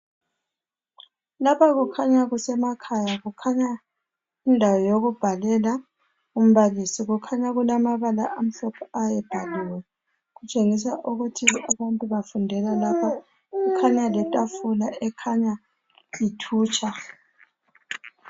Lapha kukhanya kusemakhaya. Kukhanya indawo yokubhalela umbalisi kukhanya amabala amamhlophe ayebhaliwe kutshengisa ukuthi abantu bafundela lapha kukhanya letafula ekhanya ithutsha.